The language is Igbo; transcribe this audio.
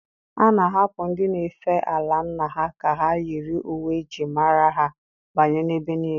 A na-ahapụ ndị na-efe ala nna ha ka ha yiri uwe eji mara ha banye n'ebe niile.